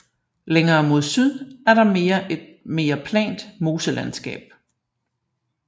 Længere mod syd er der et mere plant moselandskab